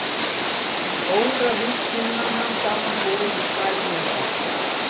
um óravídd himnanna samanborið við stærð jarðar